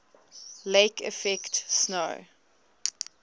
lake effect snow